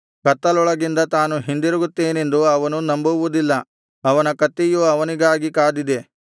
ಕತ್ತಲೊಳಗಿಂದ ತಾನು ಹಿಂದಿರುಗುತ್ತೇನೆಂದು ಅವನು ನಂಬುವುದಿಲ್ಲ ಅವನ ಕತ್ತಿಯು ಅವನಿಗಾಗಿ ಕಾದಿದೆ